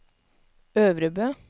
Øvrebø